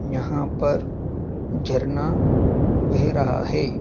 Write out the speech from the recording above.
यहां पर झरना बह रहा है।